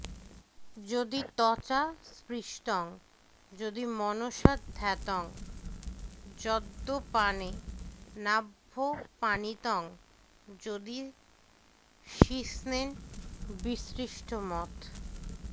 যদি ত্বচা স্পৃষ্টং যদি মনসা ধ্যাতং যদ্যপানেনাভ্যপানিতং যদি শিশ্নেন বিসৃষ্টমথ